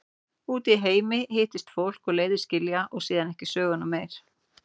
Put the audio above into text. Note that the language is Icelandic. Úti í heimi hittist fólk og leiðir skilja og síðan ekki söguna meir.